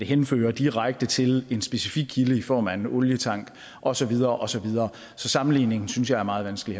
henføre direkte til en specifik kilde i form af en olietank og så videre og så videre så sammenligningen synes jeg er meget vanskelig